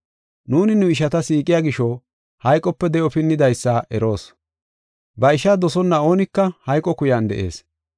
Nuuni nu ishata siiqiya gisho, hayqope de7o pinnidaysa eroos. Ba ishaa dosonna oonika hayqo kuyan de7ees.